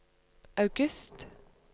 august